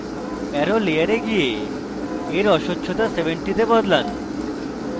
arrow layer যান এবং layer অস্বচ্ছতা 70 go বদলান